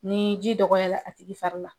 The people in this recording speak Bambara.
Ni ji dɔgɔya la a tigi fari la,